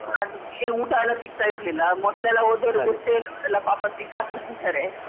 ಅದ್ ಏನ್ ಉಟಾಯೆಲ್ಲ ಸಿಗ್ತಾ ಇರ್ಲಿಲ್ಲ, ಮೊದ್ಲೆಲ್ಲಾ ಹೋದೋರು ಪಾಪ ಸಿಕ್ಕಾಕಿಬಿಟ್ಟಿದಾರೆ.